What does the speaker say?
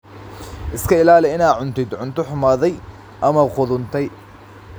Iska ilaali inaad cuntid cunto xumaaday ama qudhuntay.